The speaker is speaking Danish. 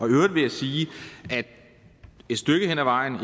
øvrigt vil jeg sige at et stykke af vejen